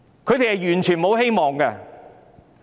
年輕人完全沒有希望。